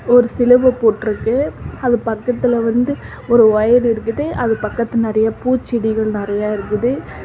ஒரு சிலுவ போட்டுருக்கு அது பக்கத்துல வந்து ஒரு ஒயர் இருக்குது அது பக்கத்துனாடியே பூச்செடிகள் நெறையா இருக்குது.